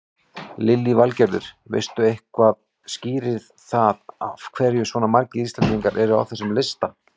Lillý Valgerður: Veistu eitthvað skýrir það af hverju svona margir Íslendingar eru á þessum lista?